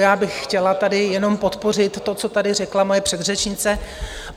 Já bych chtěla tady jenom podpořit to, co tady řekla moje předřečnice.